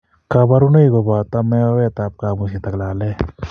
Kaborunoik kobooto meoet ab kabuset ak laleet